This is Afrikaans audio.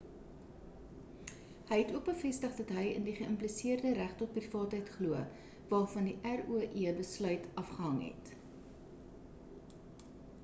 hy het ook bevestig dat hy in die geimpliseerde reg tot privaatheid glo waarvan die roe besluit afgehang het